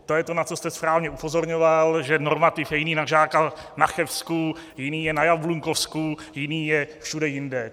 To je to, na co jste správně upozorňoval, že normativ je jiný na žáka na Chebsku, jiný je na Jablunkovsku, jiný je všude jinde.